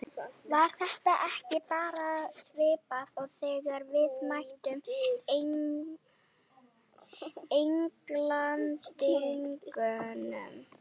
Var þetta ekki bara svipað og þegar við mættum Englendingunum?